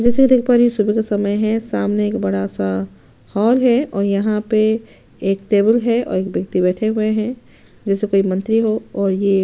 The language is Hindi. जैसे की देख पा रही हूँ ये सुबह का समय है सामने एक बड़ा सा हॉल है और यहाँ पे एक टेबल है और एक वयक्ति बैठे हुए है जैसे कोई मंत्री हो और ये --